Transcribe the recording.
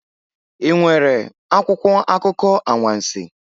Ị nwere akwụkwọ akụkọ anwansi?